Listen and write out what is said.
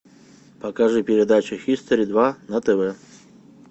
покажи передачу хистори два на тв